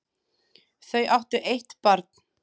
Þau áttu eitt barn.